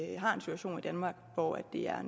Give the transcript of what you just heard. danmark hvor det er